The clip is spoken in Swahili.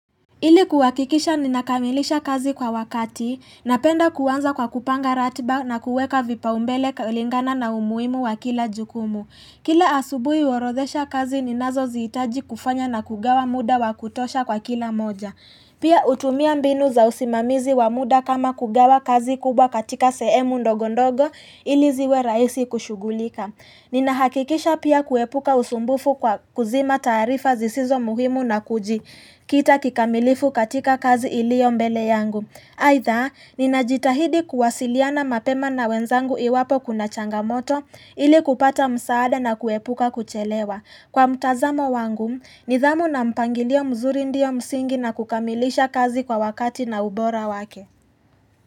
Ili kuhakikisha ninakamilisha kazi kwa wakati, napenda kuanza kwa kupanga ratiba na kuweka vipaombele kulingana na umuhimu wa kila jukumu. Kila asubuhi huorodhesha kazi ninazozihitaji kufanya na kugawa muda wa kutosha kwa kila moja. Pia hutumia mbinu za usimamizi wa muda kama kugawa kazi kubwa katika sehemu ndogo ndogo ili ziwe rahisi kushughulika. Ninahakikisha pia kuepuka usumbufu kwa kuzima taarifa zisizo muhimu na kuji. Kita kikamilifu katika kazi ilio mbele yangu. Aidha, ninajitahidi kuwasiliana mapema na wenzangu iwapo kuna changamoto ili kupata msaada na kuepuka kuchelewa. Kwa mtazamo wangu, nidhamu na mpangilio mzuri ndio msingi na kukamilisha kazi kwa wakati na ubora wake.